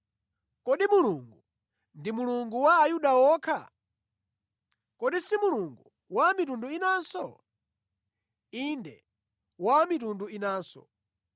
Kodi Mulungu ndi Mulungu wa Ayuda okha? Kodi si Mulungu wa a mitundu inanso? Inde wa a mitundu inanso,